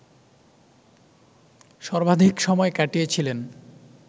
সর্বাধিক সময় কাটিয়েছিলেন